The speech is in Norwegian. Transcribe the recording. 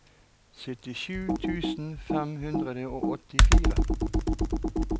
syttisju tusen fem hundre og åttifire